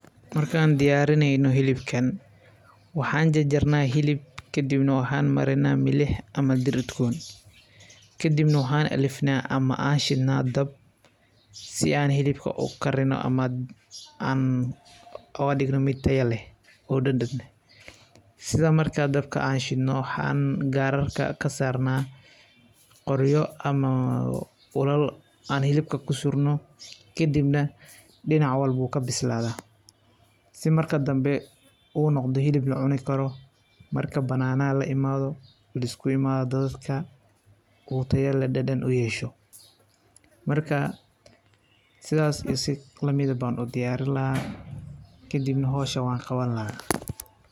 Markaan diyaarineyno hilibkan, waxaan jajarnaa hilib kadibna waxaan marinaa milix ama dhir udgoon ,kadibna waxaan alifnaa ama aan shidnaa dab si aan hilibka u karino ama aan ooga dhigno mid taya leh ,oo dhadhan leh ,sida marka aan dabka shidno waxaan gaararka kasarnaa qoryo ama ulal aan hilibka kusurno, kadibna dhinac walbuu ka bisladaa, si marka dambe uu noqdo hilib la cuni karo ,marka banaanaha la imaaado ,lisku imaado dadadka .Oo taya leh dhadhan u yeesho .Markaa sidaas iyo si lamideh baan u diyaaarin lahaa ,kadibne howshan waan qawan lahaa .